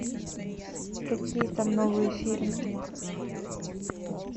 какие там новые фильмы